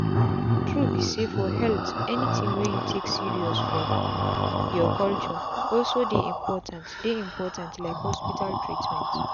true be sayfor health anything wey you take serious for your culture also dey important dey important like hospital treatment.